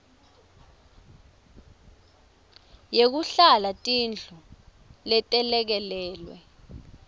yekuhlala tindlu letelekelelwe